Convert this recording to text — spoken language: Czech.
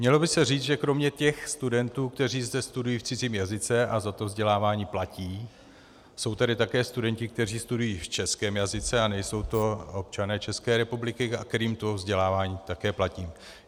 Mělo by se říct, že kromě těch studentů, kteří zde studují v cizím jazyce a za to vzdělávání platí, jsou tady také studenti, kteří studují v českém jazyce a nejsou to občané České republiky, kterým to vzdělávání také platí.